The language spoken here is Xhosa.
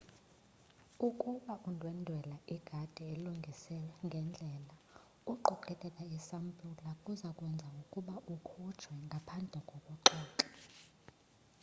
ukuba undwendwela igadi elungiswe ngendlela uqokelela isampula kuza kwenza ukuba ukhutshwe ngaphandle kokuxoxa